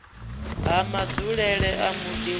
ha madzulele a muḓi wa